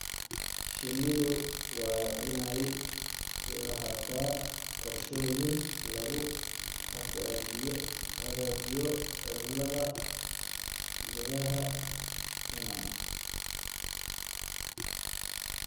Shinnidu waa inay lahaataa qorshooyin lagu hagaajinayo cimilada gudaha finan.